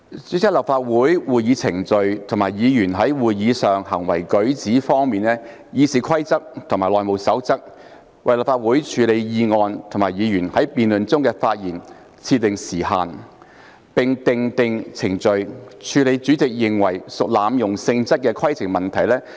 主席，在立法會會議程序和議員在會議上的行為舉止方面，《議事規則》及《內務守則》為立法會處理議案及議員在辯論中的發言設定時限，並訂定程序以處理主席認為屬濫用性質的規程問題。